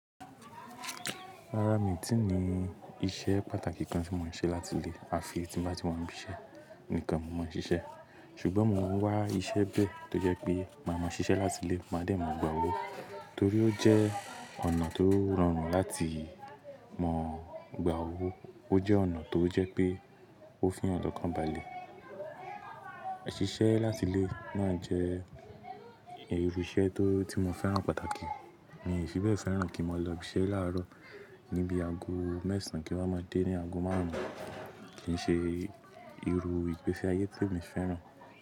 Rárá mi ò tí ì ní iṣẹ́ pàtàkì kan tí mò ń ṣe láti ilé. A fi tí bá ti wan bí iṣẹ́ nìkan mo máa ń ṣiṣẹ́. Ṣùgbọ́n mo ń wá iṣẹ́ bẹ̀ tó jẹ́ pé máa mọ ṣiṣẹ́ láti ilé máa dẹ̀ máa gba owó torí ó jẹ́ ọ̀nà tó rọrùn láti mọ gba owó. Ó jẹ́ ọ̀nà tó jẹ́ pé ó fiyàn lọkàn balẹ̀. Ṣiṣẹ́ láti ilé náa jẹ́ irú iṣẹ́ tó tí mo fẹ́ràn pàtàkì. Mi ò fi bẹ́ẹ̀ fẹ́ràn kí mo lọ ibi iṣẹ́ láàárọ̀ níbi ago mẹ́sàn án kí n máa dé ní ago márùn ún. Kì í ṣe irú ìgbése ayé te mi fẹ́ràn.